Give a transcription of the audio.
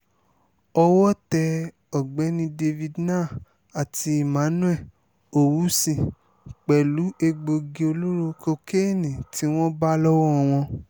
owó tẹ ọ̀gbẹ́ni david narh àti emmanuel owúsì pẹ̀lú egbòogi olóró kokéènì tí wọ́n bá lọ́wọ́ wọn